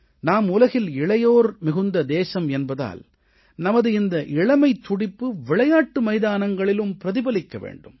நாம் உலகில் இளையோர் மிகுந்த தேசம் என்பதால் நமது இந்த இளமைத் துடிப்பு விளையாட்டு மைதானங்களிலும் பிரதிபலிக்க வேண்டும்